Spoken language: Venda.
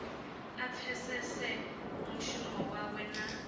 a pfesese mushumo wawe na